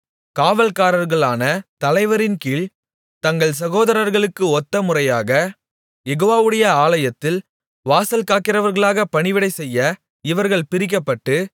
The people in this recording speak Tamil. காவல்காரர்களான தலைவரின்கீழ்த் தங்கள் சகோதரர்களுக்கு ஒத்த முறையாகக் யெகோவாவுடைய ஆலயத்தில் வாசல்காக்கிறவர்களாக பணிவிடை செய்ய இவர்கள் பிரிக்கப்பட்டு